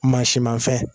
Mansinmafɛn